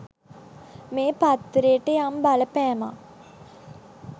මේ පත්තරේට යම් බලපෑමක්.